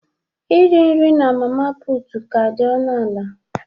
Iri nri na mama puutu ka dị ọnụ ala